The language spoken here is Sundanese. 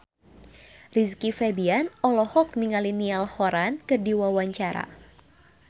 Rizky Febian olohok ningali Niall Horran keur diwawancara